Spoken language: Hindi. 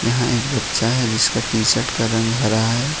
यहां एक बच्चा है जिसका टी_शर्ट का रंग हरा है।